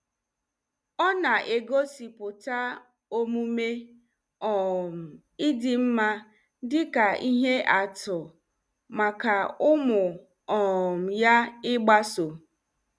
Ọ na-egosipụta omume um ịdị mma dị ka ihe atụ maka ụmụ um ya ịgbaso.